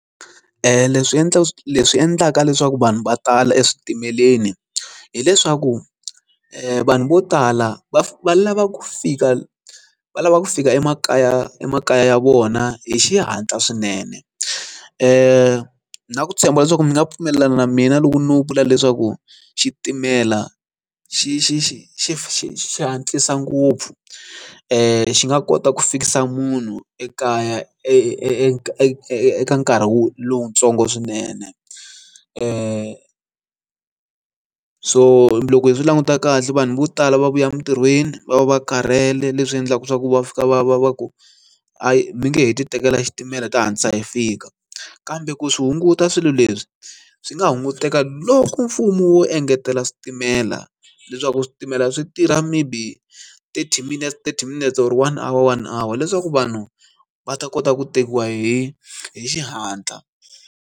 Leswi endlaka leswi endlaka leswaku vanhu va tala eswitimeleni hileswaku vanhu vo tala va va lava ku fika va lava ku fika emakaya emakaya ya vona hi xihatla swinene ni na ku tshemba leswaku mi nga pfumelelani na mina loko no vula leswaku xitimela xi xi xi xi xi xi hatlisa ngopfu xi nga kota ku fikisa munhu ekaya eka eka nkarhi lowutsongo swinene so loko hi swilanguta kahle vanhu vo tala va vuya emintirhweni va va va karhele leswi endlaka swa ku va fika va va va ku a mi nge heti tekela xitimela ta hantlisa hi fika kambe ku swi hunguta swilo leswi swi nga hunguteka loko mfumo wo engetela switimela leswaku switimela swi tirha maybe thirty minutes thirty minutes or one hour one hour leswaku vanhu va ta kota ku tekiwa hi hi xihatla.